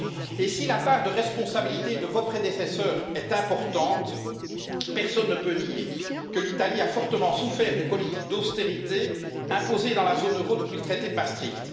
Et si la part de responsabilité de vos prédécesseurs est importante, personne ne peut nier que l'Italie a fortement souffert des politiques d'austérité imposées dans la zone euro depuis le traité de Maastricht.